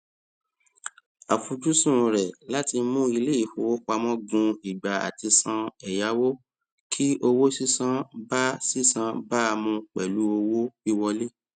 àfojúsùn rẹ láti mú iléìfowópamọ gùn ìgbà àtisàn ẹyáwó kí owó sísan bá sísan bá mu pẹlú owó wíwọlé